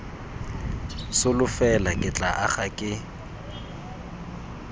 solofela ke tla aga ke